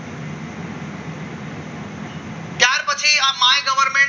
A goverment